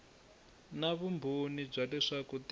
na vumbhoni bya leswaku ti